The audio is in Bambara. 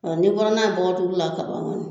A n'i bɔra n'a ye bɔgɔdugu la ka ban kɔni